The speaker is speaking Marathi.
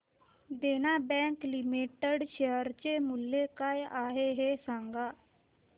देना बँक लिमिटेड शेअर चे मूल्य काय आहे हे सांगा